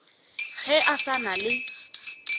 ge a sa na le